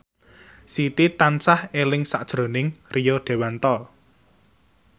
Siti tansah eling sakjroning Rio Dewanto